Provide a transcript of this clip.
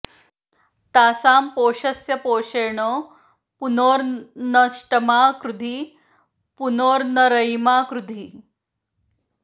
तासां॒ पोष॑स्य॒ पोषे॑ण॒ पुन॑र्नो न॒ष्टमा कृ॑धि॒ पुन॑र्नो र॒यिमा कृ॑धि